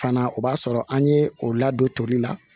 Fana o b'a sɔrɔ an ye o ladon toli la